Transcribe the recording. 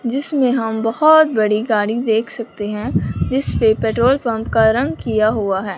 जिसमें हम बहुत बड़ी गाड़ी देख सकते हैं जिस पे पेट्रोल पंप का रंग किया हुआ है।